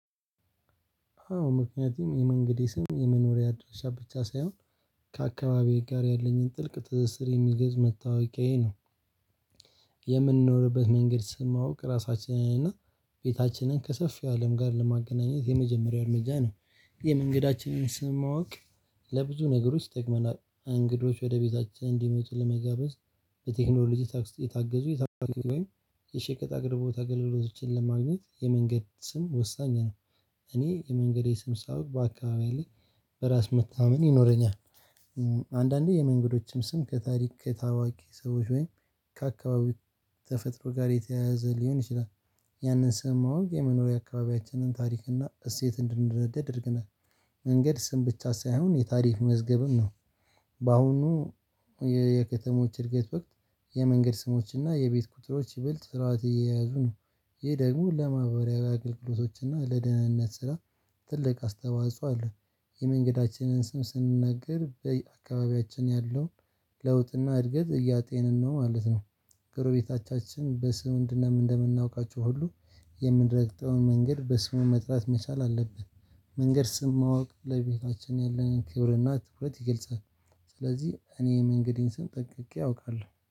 አዎ ምክንያቱም የመንገዴ ስም የመኖሪያ ድርጅት ሂሳብ ብቻ ሳይሆን ከአካባቢዬ ጋር ያለኝን ጥልቅ ትስስር የሚገዙ መታወቂያዬ ነው። የምንኖርበት መንገድ ስለማወቅ ራሳችንን እና ቤታችንን ከሰፊው አለም ጋር ለማገናኘት የመጀመሪያው እርምጃ ነው። የመንገዳችንን ስም ማወቅ ለብዙ ነገሮች ይጠቅመናል እንግዶች ወደ ቤታችን እንዲመጡ ለመጋበዝ። በቴክኖሎጂ ታግዙ የታገዙ የታገዙ ወይም የሸቀጥ አቅርቦት ኣገልግሎቶችን ለማግኘት የመንገድ ስም ወሳኝ ነው። እኔ የመንገዴ ስም ሳውቅ በአካባቢዬ ላይ በራስ መታመን ይኖረኛል። አንዳንዴ የመንገዶችም ስም ከታሪክ ከታዋቂ ሰዎች ወይም ከአካባቢው ተፈጥሮ ጋር የተያያዘ ሊሆን ይችላል። ያንን ስም ማወቅ የመኖሪያ አካባቢያችንን ታሪክና እሴት እንድንረዳዳ ያደርገናል። መንገድ ስም ብቻ ሳይሆን የታሪክ መዝገብም ነው። በአሁኑ የከተሞች እድገት ወቅት የመንገድ ስሞችና የቤት ቁጥሮች ይበልጥ ስርዓት እየያዙ ነው። ይህ ደግሞ ለማህበሪያውያን አገልግሎቶችና ለደህንነት ስራ ትልቅ አስተዋጽኦ አለ። የመንገዳችንን ስም ስንናገር በየአካባቢያችን ያለው ለውጥና እድገት እያጤንን ነው ማለት ነው። ጎረቤታቻችን በሰውን እንድናምን እንደምናውቃቸው ሁሉ የምንረግጠውን መንገድ በስሙ መጥራት መቻል አለብን። መንገድ ስም ማወቅ ለቤታችን ያለንን ክብርና ትኩረት ይገልጻል። ስለዚህ እኔ የመንገዴን ስም ጠንቅቄ አውቃለው